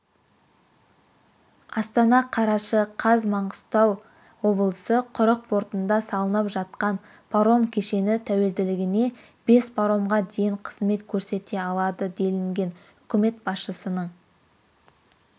астана қараша қаз маңғыстау облысы құрық портында салынып жатқан паром кешені тәулігіне бес паромға дейін қызмет көрсете алады делінген үкімет басшысының